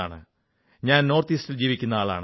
ഞാൻ വടക്കു കിഴക്ക് വസിക്കുന്ന ആളാണ്